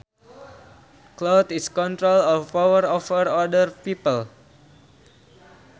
Clout is control or power over other people